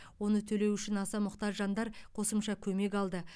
оны төлеу үшін аса мұқтаж жандар қосымша көмек алды